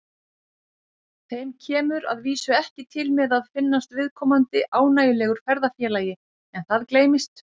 Þeim kemur að vísu ekki til með að finnast viðkomandi ánægjulegur ferðafélagi en það gleymist.